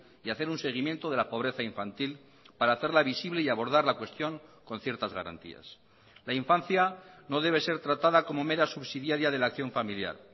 y hacer un seguimiento de la pobreza infantil para hacerla visible y abordar la cuestión con ciertas garantías la infancia no debe ser tratada como mera subsidiaria de la acción familiar